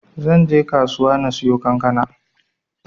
Zanbje kasuwa na siyo kankana.